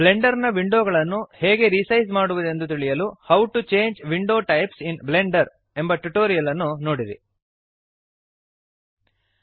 Blender ನ window ಗಳನ್ನು ಹೇಗೆ ರಿಸೈಜ್ ಮಾಡುವದೆಂದು ತಿಳಿಯಲು how to change window types in Blender how to change window types in Blender ಎನ್ನುವ ನಮ್ಮ ಟ್ಯುಟೋರಿಯಲ್ ನೋಡಿರಿ